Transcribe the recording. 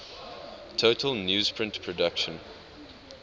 total newsprint production